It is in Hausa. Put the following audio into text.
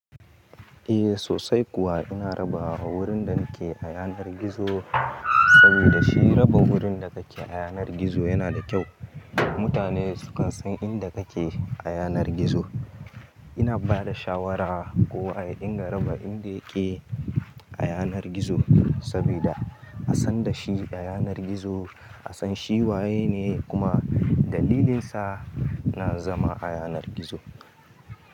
Eh sosai kuwa ina raba, awurin da nake a yanar gizo saboda shi raba wurin da kake a yanar gizo yana da kyau. Mutane su ka san inda kake a yanar gizo. Ina ba da shawara kowa ya dinga raba inda yake a yanar gizo sabida a san da shi a yanar gizo. A san shi waye ne kuma dalilinsa na zama a yanar gizo.